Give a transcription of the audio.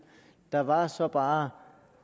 der var så bare